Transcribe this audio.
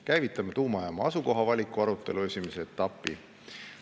Käivitame tuumajaama asukoha valiku arutelu esimese etapi.